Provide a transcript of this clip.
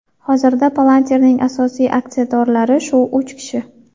Hozirda Palantir’ning asosiy aksiyadorlari shu uch kishi.